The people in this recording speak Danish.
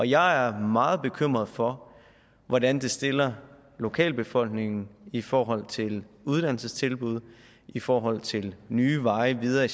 jeg er meget bekymret for hvordan det stiller lokalbefolkningen i forhold til uddannelsestilbud i forhold til nye veje videre i